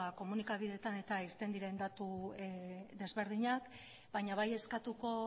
komunikabideetan irten diren datu desberdinak baina bai eskatuko